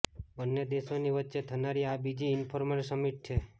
બંને દેશોની વચ્ચે થનારી આ બીજી ઈન્ફોર્મલ સમિટ છે